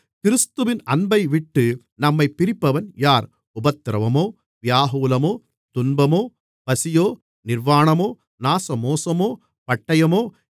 கிறிஸ்துவின் அன்பைவிட்டு நம்மைப் பிரிப்பவன் யார் உபத்திரவமோ வியாகுலமோ துன்பமோ பசியோ நிர்வாணமோ நாசமோசமோ பட்டயமோ